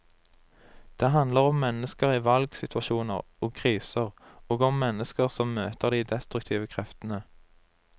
Det handler om mennesker i valgsituasjoner og kriser, og om mennesker som møter de destruktive kreftene.